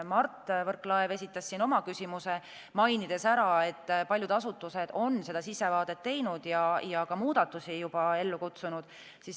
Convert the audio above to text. Mart Võrklaev esitas siin oma küsimuse, mainides ära, et paljud asutused on seda sissevaadet teinud ja ka muudatusi juba ellu kutsunud.